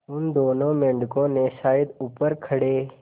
उन दोनों मेढकों ने शायद ऊपर खड़े